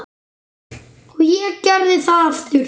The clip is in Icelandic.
Og ég gerði það aftur.